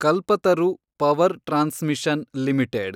Kalpataru power transmission limited